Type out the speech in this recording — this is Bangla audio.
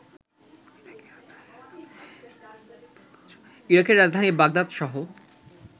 ইরাকের রাজধানী বাগদাদসহ